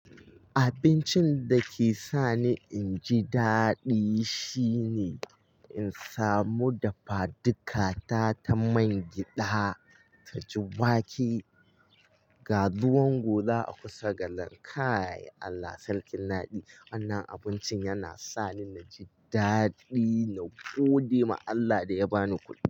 Abincin dake sani inji daɗi shine in samu dafadukata ta man gƴada taji wake, ga ruwan gola a kusa galar kai. Allah sarkin naɗi. Wannan abincin yana sani naji daɗi na godema Allah da ya bani kuɗi.